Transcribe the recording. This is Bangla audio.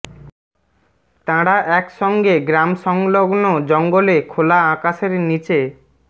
তাঁরা এক সঙ্গে গ্রাম সংলগ্ন জঙ্গলে খোলা আকাশের নিচে